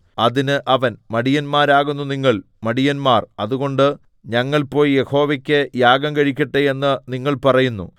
അതിന് അവൻ മടിയന്മാരാകുന്നു നിങ്ങൾ മടിയന്മാർ അതുകൊണ്ട് ഞങ്ങൾ പോയി യഹോവയ്ക്ക് യാഗം കഴിക്കട്ടെ എന്ന് നിങ്ങൾ പറയുന്നു